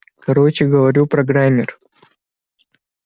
короче говорю программер